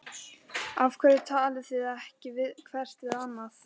Af hverju talið þið ekki hvert við annað?